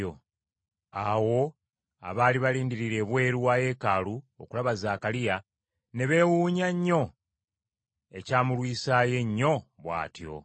Abantu abaali balindirira ebweru wa Yeekaalu okulaba Zaakaliya ne beewuunya nnyo ekyamulwisaayo ennyo bw’atyo.